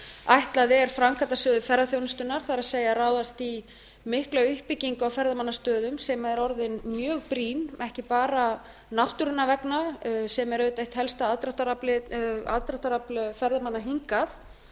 ætlað er framkvæmdasjóði ferðaþjónustunnar það er ráðast í mikla uppbyggingu á ferðamannastöðum sem er orðin mjög brýn ekki bara náttúrunnar vegna sem er auðvitað eitt helsta aðdráttarafl ferðamanna hingað